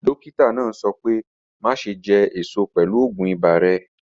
Dọ́kítà náà sọ̀ pẹ̀ máṣẹ̀ jẹ́ èṣọ̀ pẹ̀lú ọ̀gún ìbà rẹ̀.